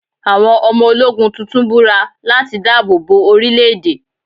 Àwọn ọmọ ológun tuntun búra láti dáàbò bo orílẹ̀ èdè.